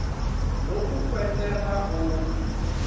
loku kwenteka uma